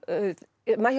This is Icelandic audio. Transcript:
Maja